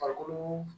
Farikolo